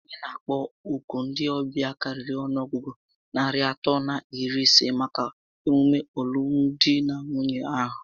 Anyị na akpọ òkù ndị ọbịa karịrị ọnụọgụgụ narị atọ na iri isé màkà emume alụmdi na Nwunye ahụ